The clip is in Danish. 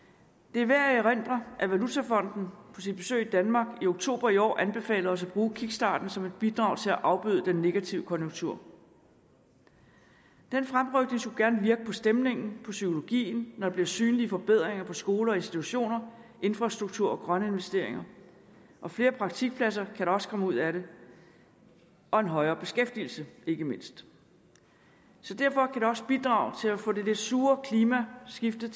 det er værd at erindre at valutafonden på sit besøg i danmark i oktober i år anbefalede os at bruge kickstarten som et bidrag til at afbøde den negative konjunktur den fremrykning skulle gerne virke på stemningen på psykologien når der bliver synlige forbedringer i skoler og institutioner infrastruktur og grønne investeringer flere praktikpladser kan der også komme ud af det og en højere beskæftigelse ikke mindst så derfor kan det også bidrage til at få det lidt sure klima skiftet